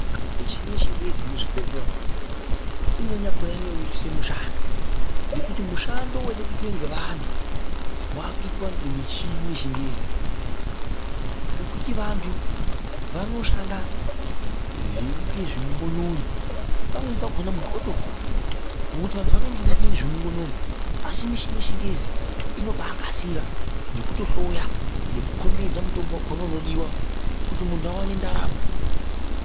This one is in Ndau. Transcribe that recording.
Michini yechiyungu iri muzvhibhedhlera umu imweni yakhona inorerusa mushando ngekuti mushando waida kuitwa ngevanthu waakuitwa ngemichini yechingezi ngekuti vanthu vanoshanda veiita zveungonono pamweni pakhona munthu otofa ngokuti vanthu vanenge veiita zvemungonono asi michini yechingezi inobaakasira nekutohloya nekukhombidza mushonga wakhona unodiwa kuti munrhu aone ndaramo.